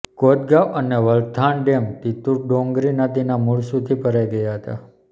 કોદગાવ અને વલથાણ ડેમ તિતુર ડોંગરી નદીના મૂળ સુધી ભરાઈ ગયા હતા